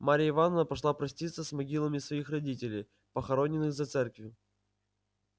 марияя ивановна пошла проститься с могилами своих родителей похороненных за церковью